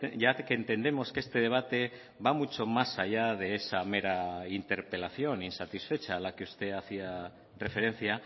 ya que entendemos que este debate va mucho más allá de esa mera interpelación insatisfecha a la que usted hacía referencia